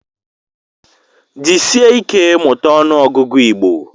Jisike ike mụta ọnụ ọgụgụ Igbo.